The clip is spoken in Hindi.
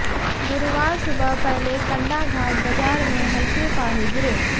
गुरुवार सुबह पहले कंडाघाट बजार में हल्के फाहे गिरे